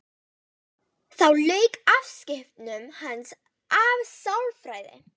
Þá lauk afskiptum hans af sálfræði.